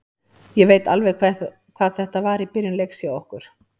Ég veit alveg hvað þetta var í byrjun leiks hjá okkur.